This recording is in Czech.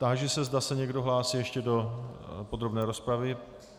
Táži se, zda se někdo hlásí ještě do podrobné rozpravy.